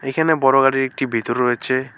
এখানে বড় গাড়ির একটি ভিতর রয়েছে।